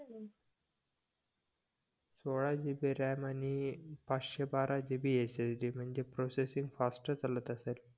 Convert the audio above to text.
सोळा GB ram आणि पाचशे बारा GBSSD म्हणजे प्रोसेसिंग फास्ट चालत असेल